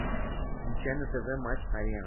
включай на тв матч арена